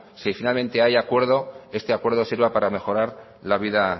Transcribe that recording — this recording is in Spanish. si finalmente hay acuerdo este acuerdo sirva para mejorar la vida